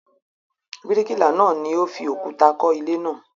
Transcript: Bíríkìlà náà ni ó fi òkúta kọ́ ilé náà.